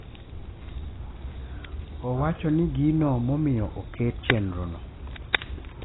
Owacho ni gino momiyo oket chenrono